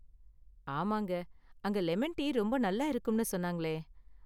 ஆமாங்க, அங்க lemon tea ரொம்ப நல்லா இருக்கும்னு சொன்னாங்களே?